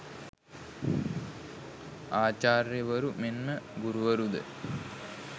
ආචාර්යවරු මෙන් ම ගුරුවරු ද